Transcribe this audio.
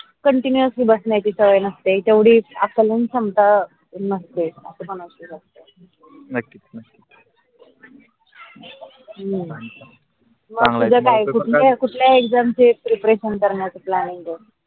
हम्म कुटल्या exam preparation करण्याच plan